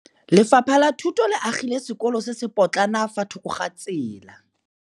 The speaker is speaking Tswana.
Lefapha la Thuto le agile sekôlô se se pôtlana fa thoko ga tsela.